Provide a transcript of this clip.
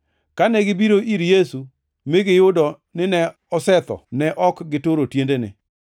Kane gibiro ir Yesu mi giyudo nine osetho, ne ok gituro tiendene.